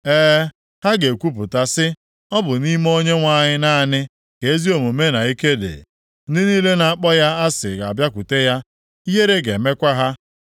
E, ha ga-ekwupụta sị, ‘Ọ bụ nʼime Onyenwe anyị naanị ka ezi omume na ike dị.’ ” Ndị niile na-akpọ ya asị ga-abịakwute ya. Ihere ga-emekwa ha.